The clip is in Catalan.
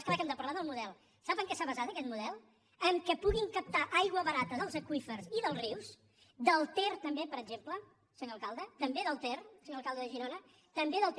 és clar que hem de parlar del model sap en què s’ha basat aquest model en el fet que puguin captar aigua barata dels aqüífers i dels rius del ter també per exemple senyor alcalde també del ter senyor alcalde de girona també del ter